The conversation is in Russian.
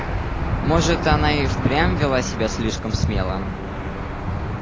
может она и впрямь вела себя слишком смело